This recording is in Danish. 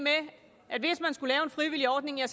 frivillig ordning er